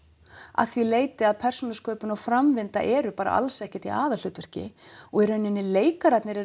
að því leyti að persónusköpun og framvinda eru bara alls ekkert í aðalhlutverki og í raun eru leikararnir